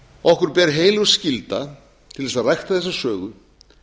okkur ber heilög skylda til að rækta þessa sögu